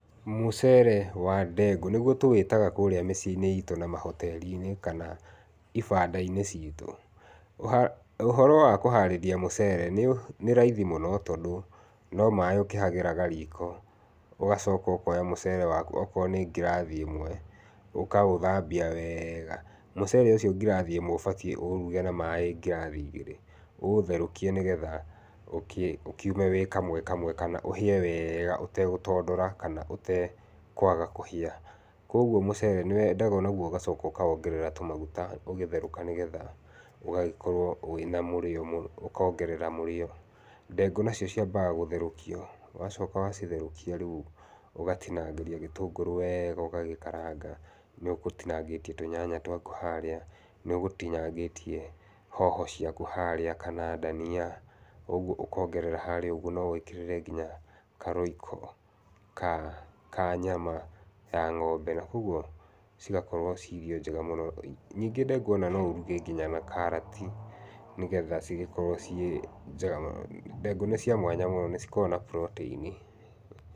Mũcere wa ndengũ ,nĩguo tũwĩtaga kũrĩa mĩciĩ-inĩ itũ na mahoteri-inĩ kana ibandainĩ citũ. Ũhoro wa kũharĩria mũcere nĩ raithi mũno tondũ no maaĩ ũkĩhagĩraga riko ũgacoka ũkoya mũcere waku okorwo nĩ ngirathi ĩmwe, ũkaũthambia wega. Mũcere ũcio ngirathi ĩmwe ũbatiĩ ũũruge na maaĩ ngirathi igĩrĩ, ũũtherũkie nĩ getha ũkiume wĩ kamwe kamwe kana ũhĩe wega ũtegũtondora kana ũtekũaga kũhĩa. Kwoguo mũcere nĩ wendaga o naguo ũgacoka ũkawongerera tũmaguta ũgĩtherũka nĩ getha ũgagĩkorwo wĩna mũrĩo, ũkongerera mũrĩo. Ndengũ nacio ciambaga gũtherũkio, wacoka wacitherũkia rĩu ũgatinangĩria gĩtũngũrũ wega ũgagĩkaranga, nĩũgũtinangĩtie tũnyanya twaku harĩa, nĩũgũtinangĩtie hoho ciaku harĩa kana ndania, ũguo ũkongerera harĩa ũguo, no wongerere nginya ka Royco ka nyama ya ng'ombe na kwoguo cigakorwo ciĩ irio njega mũno. Ningĩ ndengũ o na no ũruge nginya na karati nĩ getha cigĩkorwo ciĩ njega mũno. Ndengũ nĩ cĩa mwanya mũno, nĩ cikoragwo na Protein.